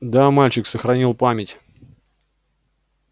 да мальчик сохранил память